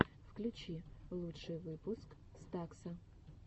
включи лучший выпуск стакса